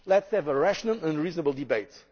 myths. Let us have a rational and reasonable